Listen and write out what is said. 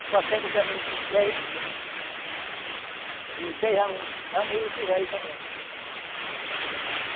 E passemos também de um uns dez anos lá no Juruti Velho também.